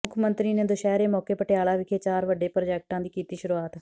ਮੁੱਖ ਮੰਤਰੀ ਨੇ ਦੁਸ਼ਹਿਰੇ ਮੌਕੇ ਪਟਿਆਲਾ ਵਿਖੇ ਚਾਰ ਵੱਡੇ ਪ੍ਰੋਜੈਕਟਾਂ ਦੀ ਕੀਤੀ ਸ਼ੁਰੂਆਤ